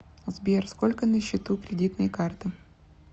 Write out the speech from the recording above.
сбер сколько на счету кредитной карты